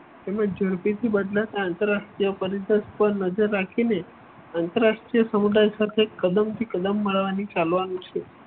તેમજ ઝડપીથી બદલાતા આંતરરાષ્ટ્રીય પરિષદ પર નજર રાખી ને આંતરરાષ્ટ્રીય સમુદાય સાથે કદમ થી કદમ મળવા ની ચાલવાનું છે.